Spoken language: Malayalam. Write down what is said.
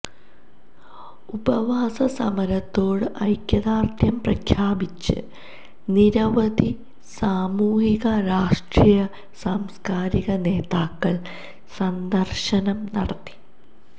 ഉപവാസ സമരത്തോട് ഐക്യദാർഢ്യം പ്രഖ്യാപിച്ച് നിരവധി സാമൂഹിക രാഷ്ട്രീയ സാംസ്കാരിക നേതാക്കൾ സന്ദർശനം നടത്തി